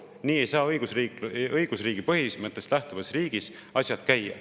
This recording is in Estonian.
Nii ei saa õigusriigi põhimõttest lähtuvas riigis asjad käia.